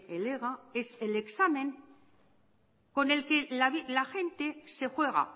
el ega es el examen con el que la gente se juega